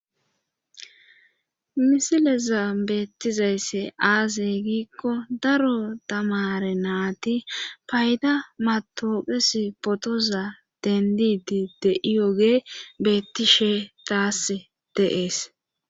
misilezan beettizayssi aaze giikko daro tamaare naati payda matooqessi phootoza denddiiddi de7iyoogee beetishe taasi de7ees.